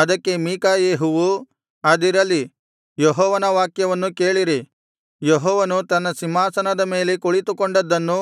ಅದಕ್ಕೆ ಮಿಕಾಯೆಹುವು ಅದಿರಲಿ ಯೆಹೋವನ ವಾಕ್ಯವನ್ನು ಕೇಳಿರಿ ಯೆಹೋವನು ತನ್ನ ಸಿಂಹಾಸನದ ಮೇಲೆ ಕುಳಿತುಕೊಂಡದ್ದನ್ನೂ